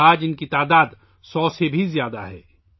آج ان کی تعداد سو سے زیادہ ہے